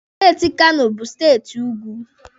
Steeti Kano bụ steeti ugwu.